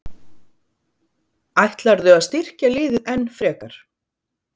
Ætlarðu að styrkja liðið enn frekar?